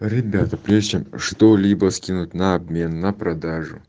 ребята прежде чем что-либо скинуть на обмен на продажу